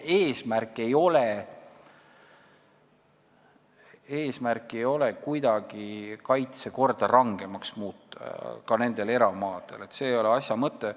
Eesmärk ei ole kuidagi ka eramaadel kaitsekorda rangemaks muuta – see ei ole asja mõte.